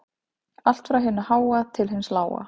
Allt frá hinu háa til hins lága